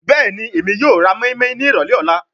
Bẹẹni, Emi yoo ra moinmoin ni irọlẹ ọla